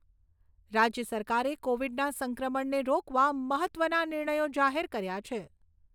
રાજ્ય સરકારે કોવિડના સંક્રમણને રોકવા મહત્ત્વના નિર્ણયો જાહેર કર્યા છે.